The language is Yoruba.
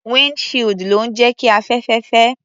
Wínd shield ló ń jẹ́ kí afẹ́fẹ́ fẹ́.